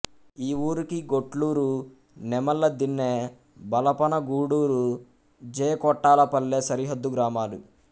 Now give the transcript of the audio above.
ఈ ఊరికి గొట్లూరు నెమళ్లదిన్నె బలపనగూడూరు జె కొట్టాలపల్లె సరిహద్దు గ్రామాలు